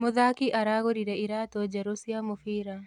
Mũthaki aragũrire iratũ njerũ cia mũbira